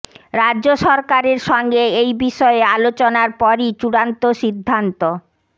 রাজ্য সরকারের সঙ্গে এই বিষয়ে আলোচনার পরই চূড়ান্ত সিদ্ধান্ত